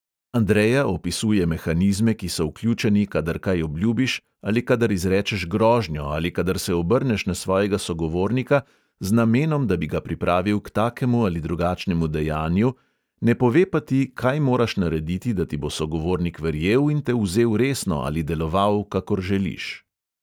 Andreja opisuje mehanizme, ki so vključeni, kadar kaj obljubiš ali kadar izrečeš grožnjo ali kadar se obrneš na svojega sogovornika z namenom, da bi ga pripravil k takemu ali drugačnemu dejanju, ne pove pa ti, kaj moraš narediti, da ti bo sogovornik verjel in te vzel resno ali deloval, kakor želiš.